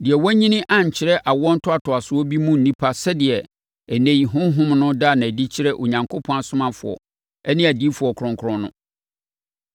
deɛ wɔannyi ankyerɛ awoɔ ntoatoasoɔ bi mu nnipa sɛdeɛ ɛnnɛ yi Honhom no ada no adi akyerɛ Onyankopɔn asomafoɔ ne adiyifoɔ kronkron no.